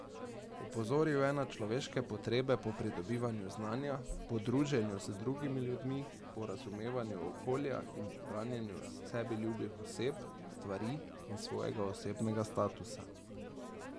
Opozoril je na človeške potrebe po pridobivanju znanja, po druženju z drugimi ljudmi, po razumevanju okolja in po branjenju sebi ljubih oseb, stvari in svojega osebnega statusa.